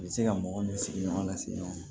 U bɛ se ka mɔgɔ n'u sigiɲɔgɔn lase ɲɔgɔn ma